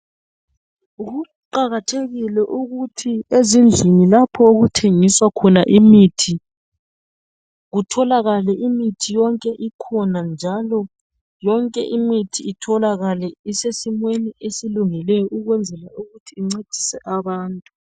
Kuqakathekile ukuthi ezindlini lapho okuthengiswa khona imithi kutholakale yonke imithi ikhona njalo yonke imithi isesimeni esilungileyo ukwenzela ukuthi incedise abantu